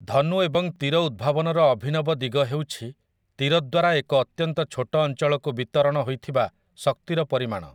ଧନୁ ଏବଂ ତୀର ଉଦ୍ଭାବନର ଅଭିନବ ଦିଗ ହେଉଛି ତୀର ଦ୍ୱାରା ଏକ ଅତ୍ୟନ୍ତ ଛୋଟ ଅଞ୍ଚଳକୁ ବିତରଣ ହୋଇଥିବା ଶକ୍ତିର ପରିମାଣ ।